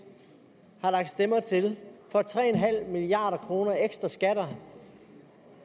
har lagt stemmer til for tre milliard kroner ekstra skatter